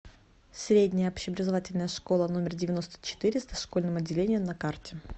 средняя общеобразовательная школа номер девяносто четыре с дошкольным отделением на карте